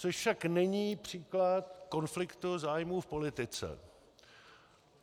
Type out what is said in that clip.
Což však není příklad konfliktu zájmů v politice.